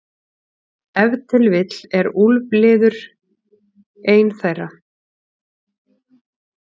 Ef til vill er úlfliður ein þeirra.